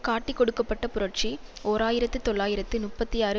காட்டிக்கொடுக்கப்பட்ட புரட்சி ஓர் ஆயிரத்து தொள்ளாயிரத்து முப்பத்தி ஆறு